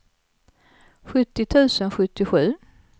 sjuttio tusen sjuttiosju